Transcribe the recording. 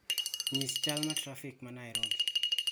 nyis chal ma trafik ma Nairobi